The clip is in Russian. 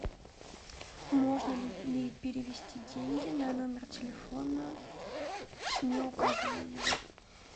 можно ли перевести деньги на номер телефона не указывая его